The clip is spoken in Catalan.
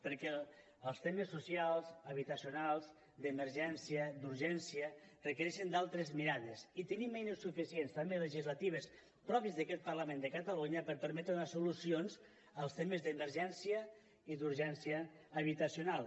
perquè els temes socials habitacionals d’emergència d’urgència requereixen altres mirades i tenim eines suficients també legislatives pròpies d’aquest parlament de catalunya per permetre donar solucions als temes d’emergència i d’urgència habitacional